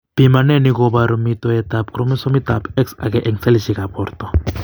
Pimaneni koboru mitoetab kromosomitab X age eng' selishekab borto.